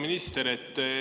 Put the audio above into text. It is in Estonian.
Hea minister!